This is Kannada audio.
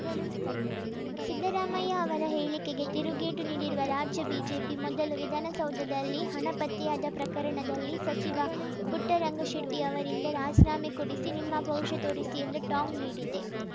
ಸಿದ್ದರಾಮಯ್ಯ ಅವರ ಹೇಳಿಕೆಗೆ ತಿರುಗೇಟು ನೀಡಿರುವ ರಾಜ್ಯ ಬಿಜೆಪಿ ಮೊದಲು ವಿಧಾನಸೌಧದಲ್ಲಿ ಹಣ ಪತ್ತೆಯಾದ ಪ್ರಕರಣದಲ್ಲಿ ಸಚಿವ ಪುಟ್ಟರಂಗಶೆಟ್ಟಿಅವರಿಂದ ರಾಜೀನಾಮೆ ಕೊಡಿಸಿ ನಿಮ್ಮ ಪೌರುಷ ತೋರಿಸಿ ಎಂದು ಟಾಂಗ್‌ ನೀಡಿದೆ